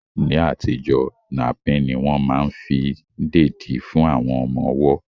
Ní àtijọ́, napín ní wọ́n ma fí ń dèdí fún àwọn ọmọ ọwọ́